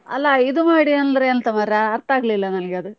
ಅಲ್ಲ ಇದು ಮಾಡಿ ಅಂದ್ರೆ ಎಂತ ಮರ್ರೆ ಅರ್ತ ಆಗ್ಲಿಲ್ಲ ನನ್ಗೆ ಅದು.